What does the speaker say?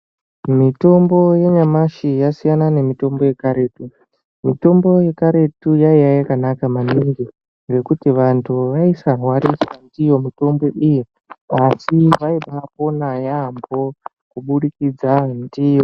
Mitombo yanyamashi yasiyana nemitombo yekarutu mitombo yekarutu yaiye yakanaka maningi ngekuti vantu vaisarwariswa ndiyo mitombo iyi asi vaibapona yambo kubudikidza ndiyo.